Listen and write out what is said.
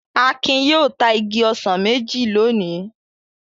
Akin yóò ta igi ọsàn méjì lónìí.